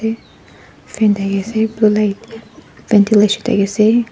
fan dhakia ase blue light ventilation dakhi ase.